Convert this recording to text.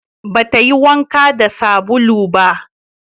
Ba ta yi wanka da sabulu ba